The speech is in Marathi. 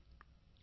phone call 1